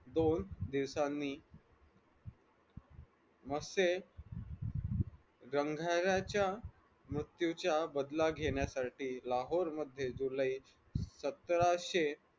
दोन दिवसांनी मसे गंधराच्या मृत्यूचा बदला घेण्यासाठी लाहोर मध्ये जुलै सतराशे